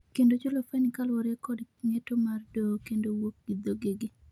kendo chulo fain kaluwore kod ng'eto mar doho kendo wuok gi dhogegi